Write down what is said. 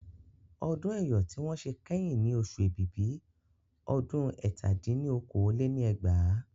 Ọdún Ẹ́yọ̀ tí wọ́n ṣe kẹ́yìn ní oṣù Èbìbì ọdún ẹ̀ta dín ní okòó-lé-ní-ẹgbàá